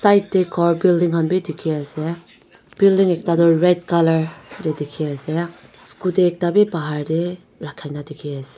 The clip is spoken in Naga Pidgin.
side te ghor building khan bhi dekhi ase building ekta to red colour tu dekhi ase scooty ekta bhi bahar te rakha dekhi ase.